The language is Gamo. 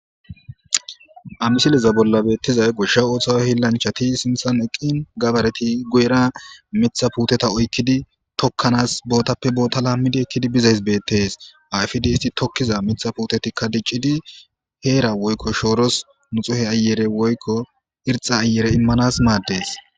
amisileza bolla beettizay goshsha ooththawo hillanchati sinthan eqqin gabareti guyera mitha puuteta oykkidi tokkanas bootappe boota laammidi ekkidi bizays beettes ayfidi isti tokkiza mitha puutetikka diccidi heera woykko shooros nuxuhe ayere woykko irxa ayere immanas maaddees